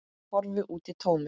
Horfir út í tómið.